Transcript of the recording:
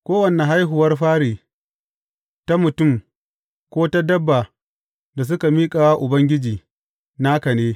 Kowane haihuwar fari, ta mutum, ko ta dabba da suka miƙa wa Ubangiji, naka ne.